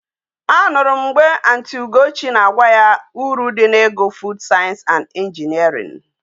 A nuru m mgbe aunty ugochi na agwa ya uru di na igu food science and engineering